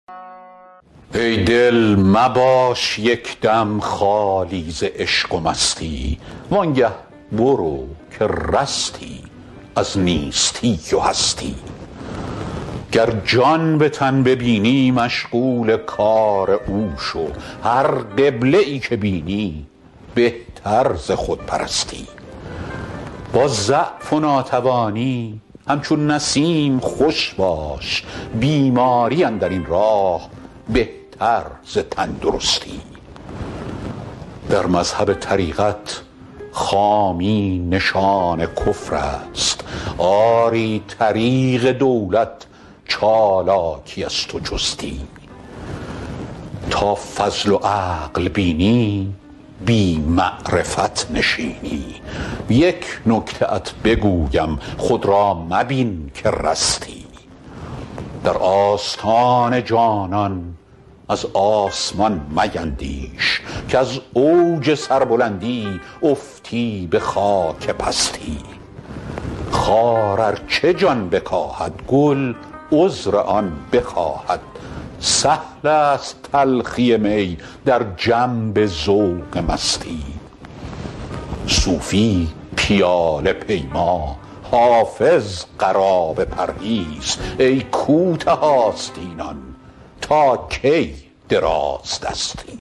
ای دل مباش یک دم خالی ز عشق و مستی وان گه برو که رستی از نیستی و هستی گر جان به تن ببینی مشغول کار او شو هر قبله ای که بینی بهتر ز خودپرستی با ضعف و ناتوانی همچون نسیم خوش باش بیماری اندر این ره بهتر ز تندرستی در مذهب طریقت خامی نشان کفر است آری طریق دولت چالاکی است و چستی تا فضل و عقل بینی بی معرفت نشینی یک نکته ات بگویم خود را مبین که رستی در آستان جانان از آسمان میندیش کز اوج سربلندی افتی به خاک پستی خار ار چه جان بکاهد گل عذر آن بخواهد سهل است تلخی می در جنب ذوق مستی صوفی پیاله پیما حافظ قرابه پرهیز ای کوته آستینان تا کی درازدستی